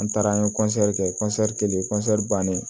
An taara an ye kɛ kelen bannen